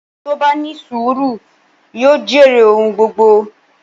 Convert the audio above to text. Ẹni tó bá ní sùúrù yóò jèrè ohun gbogbo.